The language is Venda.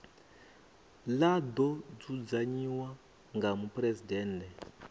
ḽa ḓo dzudzanyiwa nga muphuresidennde